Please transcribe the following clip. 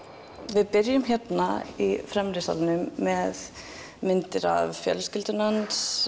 við byrjum hérna í fremri salnum með myndir af fjölskyldunni hans